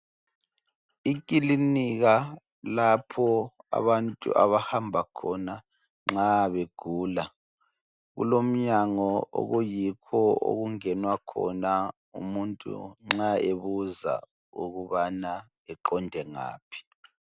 Ikilinika lapho abantu abahamba khona nxa begula kulomnyango okuyikho okungenwa khona umuntu nxa ebuza ukuthi eqonde ngaphi